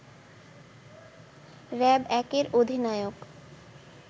র‌্যাব-১ এর অধিনায়ক